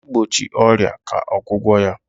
igbochi ọrịa ka ọgwụgwọ ya.